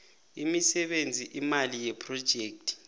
imisebenzi imali yephrojekhthi